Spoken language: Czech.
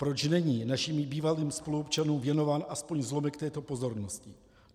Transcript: Proč není našim bývalým spoluobčanům věnován aspoň zlomek této pozornosti?.